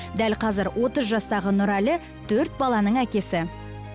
дәл қазір отыз жастағы нұрәлі төрт баланың әкесі